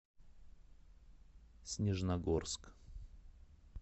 снежногорск